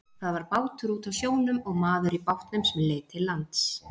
Það var bátur úti á sjónum og maður í bátnum sem leit til lands.